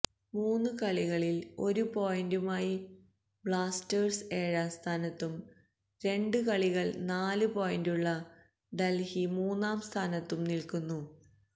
മൂന്ന് കളികളില് ഒരു പോയിന്റുമായി ബ്ലാസ്റ്റേഴ്സ് ഏഴാം സ്ഥാനത്തും രണ്ട് കളികളില് നാല് പോയിന്റുള്ള ഡല്ഹി മൂന്നാം സ്ഥാനത്തും നില്ക്കുന്നു